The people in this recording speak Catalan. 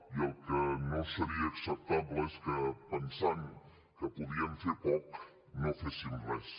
i el que no seria acceptable és que pensant que podíem fer poc no féssim res